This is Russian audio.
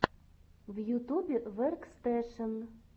в ютубе веркстэшен